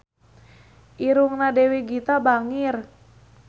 Irungna Dewi Gita bangir